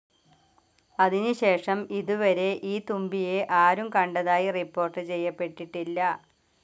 അതിനു ശേഷം ഇതുവരെ ഈ തുമ്പിയെ ആരും കണ്ടതായി റിപ്പോർട്ട്‌ ചെയ്യപ്പെട്ടിട്ടില്ല.